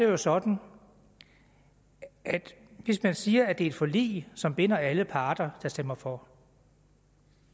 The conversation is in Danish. jo sådan at hvis man siger at det er et forlig som binder alle parter der stemmer for